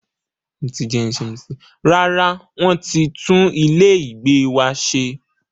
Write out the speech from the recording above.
Rárá, wọ́n ti tún ilé ìgbé wa ṣe.